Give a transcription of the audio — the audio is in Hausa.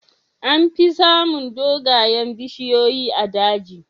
Amfi samun dogayen bishiyoyi a daji.